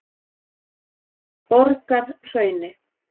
Borgarhrauni